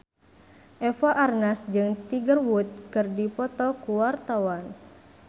Eva Arnaz jeung Tiger Wood keur dipoto ku wartawan